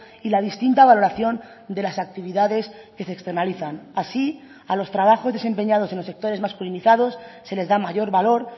y la distinta valoración de las actividades que se externalizan así a los trabajos desempeñados en los sectores masculinizados se les da mayor valor